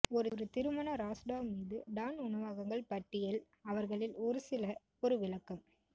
ஒரு திருமண ராஸ்டாவ் மீது டான் உணவகங்கள் பட்டியல் அவர்களில் ஒரு சில ஒரு விளக்கம்